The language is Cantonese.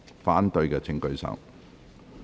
反對的請舉手。